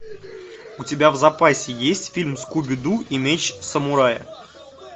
у тебя в запасе есть фильм скуби ду и меч самурая